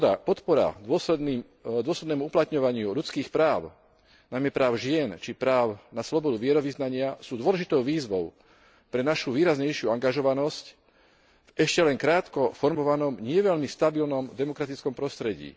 Podpora dôsledného uplatňovania ľudských práv, najmä práv žien či práv na slobodu vierovyznania je dôležitou výzvou pre našu výraznejšiu angažovanosť v ešte len krátko formovanom, nie veľmi stabilnom demokratickom prostredí.